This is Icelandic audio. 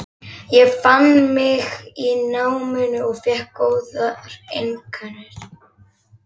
Ég fann mig í náminu og fékk góðar einkunnir.